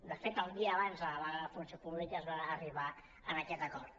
de fet el dia abans de la vaga de la funció pública es va arribar a aquest acord